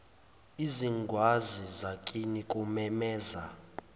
izingwazi zakini kumemeza